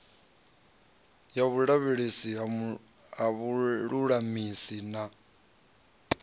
ya vhulavhelesi ha vhululamisi na